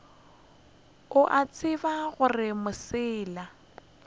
o a tseba gore mosela